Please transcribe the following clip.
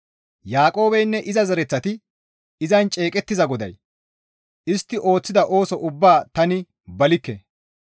Yaaqoobeynne iza zereththati izan ceeqettiza GODAY, «Istti ooththida ooso ubbaa tani balikke.